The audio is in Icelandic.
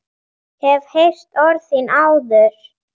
Hef heyrt orð þín áður.